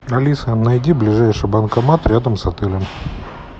алиса найди ближайший банкомат рядом с отелем